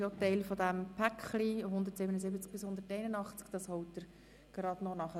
Dieser ist auch Teil des momentan zu behandelnden Blocks.